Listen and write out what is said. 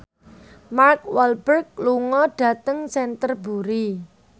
Mark Walberg lunga dhateng Canterbury